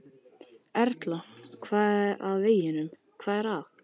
Erla: Hvað er að veginum, hvað er að?